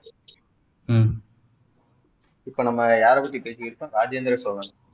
இப்போ நம்ம யாரை பத்தி பேசிட்டு இருக்கோம் ராஜேந்திர சோழன்